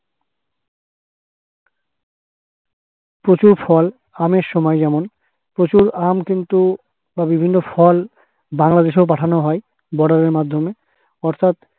প্রচুর ফল আমের সময় যেমন প্রচুর আম কিন্তু বা বিভিন্ন ফল বাংলাদেশেও পাঠান হয় বর্ডারের মাধ্যমে অর্থাৎ